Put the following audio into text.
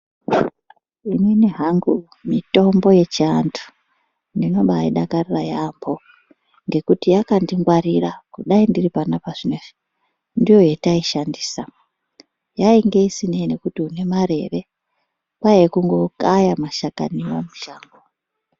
Inini hangu mitombo yechiantu ndinobaa idakarira yaambo, ngekuti yakandingwarira kudai ndiri panapa zvinezvi ndiyo yetaishandisa. Yainga isinei nekuti une mare ere, kwaiye kungokaya mashakaniwo mushango.